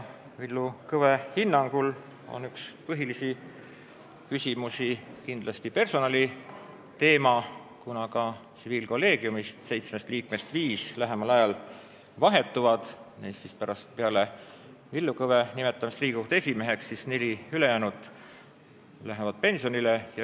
Villu Kõve hinnangul on üks põhilisi küsimusi kindlasti personaliteema, kuna ka tsiviilkolleegiumi seitsmest liikmest viis lähemal ajal vahetuvad, neli ülejäänut lähevad pärast Villu Kõve nimetamist Riigikohtu esimeheks pensionile.